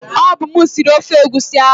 Ọ bụ m sịrị ofe egwusi ahu